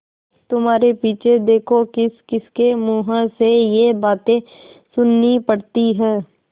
तुम्हारे पीछे देखो किसकिसके मुँह से ये बातें सुननी पड़ती हैं